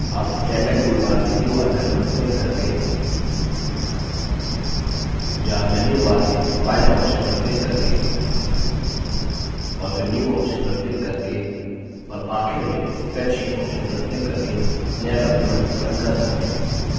आप standard toolbar में new icon पर क्लिक करके या menu bar में file option पर क्लिक करके और फिर new option पर क्लिक करके और आखिर में spreadsheet option पर क्लिक करके नया document open कर सकते हैं